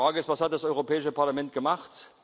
Die Frage ist Was hat das Europäische Parlament gemacht?